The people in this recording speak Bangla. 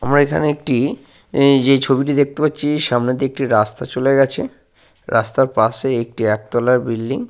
আমরা এখানে একটি এইযে ছবি টি দেখতে পাচ্ছি সামনে দিয়ে একটি রাস্তা চলে গেছে। রাস্তার পাশে একটি একতলা বিল্ডিং ।